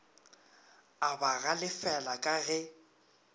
a ba galefela ka ge